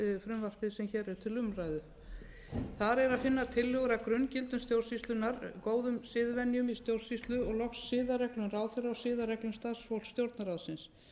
er til umræðu þar er að finna tillögur að grunngildum stjórnsýslunnar góðum siðvenjum í stjórnsýslu og loks siðareglum ráðherra og siðareglum starfsfólks stjórnarráðsins